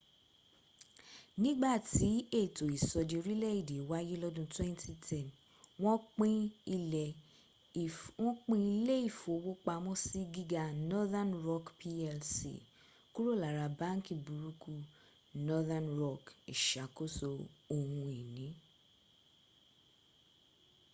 nígbàtí ètò ìsọdi orílẹ̀èdè wáyé lọ́dún 2010 wọ́n pín ilé ìfowópamọ́sí gíga northern rock plc kúrò lára ‘báńkì burúkú’ northern rock ìsàkóso ohun ìní